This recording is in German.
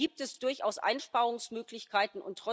Von daher gibt es durchaus Einsparungsmöglichkeiten.